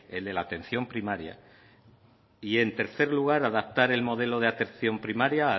el de la atención primaria y en tercer lugar adaptar el modelo de atención primaria